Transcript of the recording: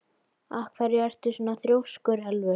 Af hverju ertu svona þrjóskur, Elfur?